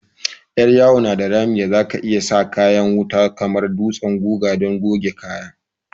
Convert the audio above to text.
Yar yawo na da rami da za ka iyi sa kayan wuta kamar dutsen guga don goge kaya.